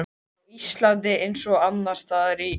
Á Íslandi, eins og annars staðar í